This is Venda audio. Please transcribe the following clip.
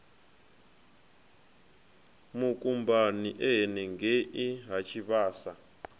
mukumbani e henengei ha tshivhasa